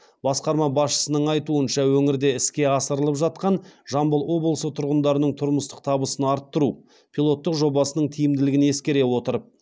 басқарма басшысының айтуынша өңірде іске асырылып жатқан жамбыл облысы тұрғындарының тұрмыстық табысын арттыру пилоттық жобасының тиімділігін ескере отырып